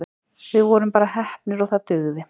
Við vorum bara heppnir og það dugði.